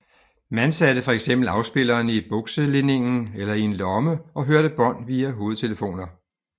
Man satte fx afspilleren i bukselinningen eller i en lomme og hørte bånd via hovedtelefoner